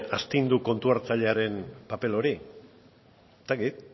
astindu kontu hartzailearen paper hori ez dakit